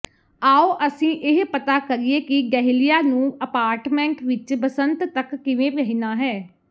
ਆਉ ਅਸੀਂ ਇਹ ਪਤਾ ਕਰੀਏ ਕਿ ਡਹਿਲਿਆ ਨੂੰ ਅਪਾਰਟਮੈਂਟ ਵਿੱਚ ਬਸੰਤ ਤੱਕ ਕਿਵੇਂ ਰਹਿਣਾ ਹੈ